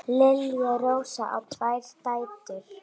Lilja Rósa á tvær dætur.